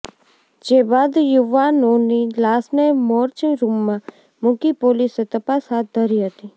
જે બાદ યુવાનોની લાશને મોર્જ રૂમમાં મૂકી પોલીસે તપાસ હાથ ધરી હતી